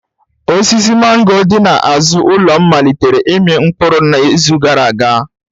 Osisi mango dị n'azụ ụlọ m malitere ịmị mkpụrụ n'izu gara aga.